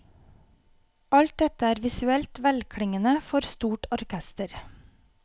Alt dette er visuelt velklingende, for stort orkester.